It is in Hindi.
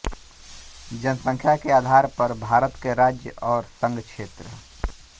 जनसंख्या के आधार पर भारत के राज्य और संघ क्षेत्र